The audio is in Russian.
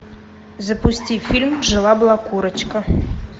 запусти фильм жила была курочка